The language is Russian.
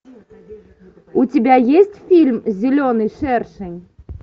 у тебя есть фильм зеленый шершень